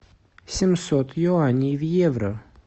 семьсот юаней в евро